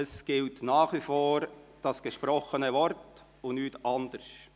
Es gilt nach wie vor das gesprochene Wort, und nichts anderes.